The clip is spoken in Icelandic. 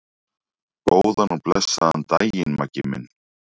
Góðan og blessaðan daginn, Maggi minn.